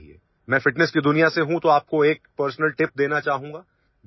মই ফিটনেছ জগতৰ গতিকে আপোনালোকক এটা ব্যক্তিগত টিপছ দিব বিচাৰিছো